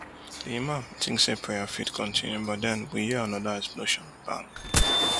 di imam tink say prayer fit kontinu but den we hear anoda explosion bang